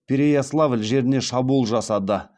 переяславль жеріне шабуыл жасады